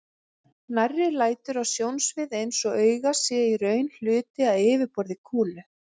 Nærri lætur að sjónsvið eins auga sé í raun hluti af yfirborði kúlu.